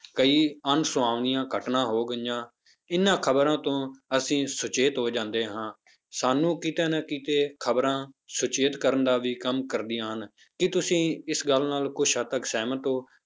ਕਈ ਅਨਸੁਖਾਵੀਆਂ ਘਟਨਾ ਹੋ ਗਈਆਂ, ਇਹਨਾਂ ਖ਼ਬਰਾਂ ਤੋਂ ਅਸੀਂ ਸੁਚੇਤ ਹੋ ਜਾਂਦੇ ਹਾਂ ਸਾਨੂੰ ਕਿਤੇ ਨਾ ਕਿਤੇ ਖ਼ਬਰਾਂ ਸੁਚੇਤ ਕਰਨ ਦਾ ਵੀ ਕੰਮ ਕਰਦੀਆਂ ਹਨ ਕੀ ਤੁਸੀਂ ਇਸ ਗੱਲ ਨਾਲ ਕੁੱਝ ਹੱਦ ਤੱਕ ਸਹਿਮਤ ਹੋ,